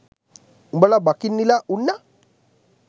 උඹල බකන්නිලා උන්නා.